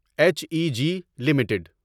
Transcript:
H E G limited